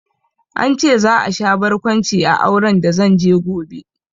An ce za a sha barkwanci a auren da zanje gobe